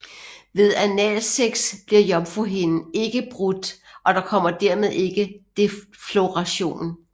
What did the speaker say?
Ved analsex bliver jomfruhinden ikke brudt og der kommer dermed ikke defloration